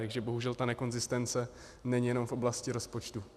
Takže bohužel ta nekonzistence není jenom v oblasti rozpočtu.